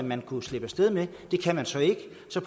man kunne slippe af sted med det kan man så ikke